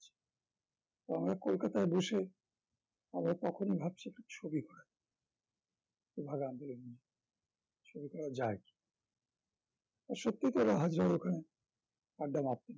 আমরা কলকাতায় বসেই আমরা তখনি ভাবছি একটা ছবি নিয়ে ছবি করা যায় তো সত্যি তো ওরা যায় ওখানে আড্ডা মারতেন